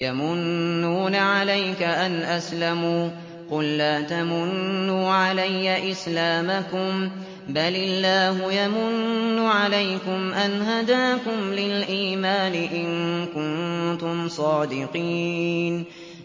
يَمُنُّونَ عَلَيْكَ أَنْ أَسْلَمُوا ۖ قُل لَّا تَمُنُّوا عَلَيَّ إِسْلَامَكُم ۖ بَلِ اللَّهُ يَمُنُّ عَلَيْكُمْ أَنْ هَدَاكُمْ لِلْإِيمَانِ إِن كُنتُمْ صَادِقِينَ